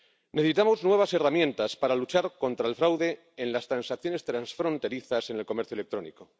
Necesitamos nuevas herramientas para luchar contra el fraude en las transacciones transfronterizas en el comercio electrónico.